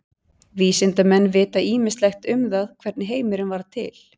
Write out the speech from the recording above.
Vísindamenn vita ýmislegt um það hvernig heimurinn varð til.